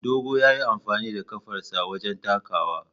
Dogo ya yi amfani da kafarsa wajen takawa.